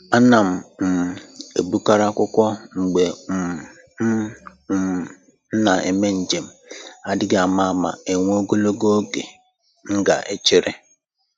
Ana m um ebukarị akwụkwọ mgbe um m um na eme njem, adịghị ama ama enwee ogologo oge m ga echere